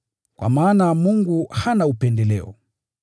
Kwa maana Mungu hana upendeleo.